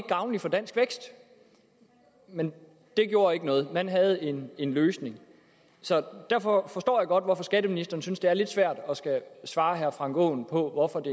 gavnligt for dansk vækst men det gjorde ikke noget man havde en en løsning så derfor forstår jeg godt hvorfor skatteministeren synes at det er lidt svært at skulle svare herre frank aaen på hvorfor det